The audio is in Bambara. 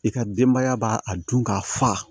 I ka denbaya b'a a dun k'a fa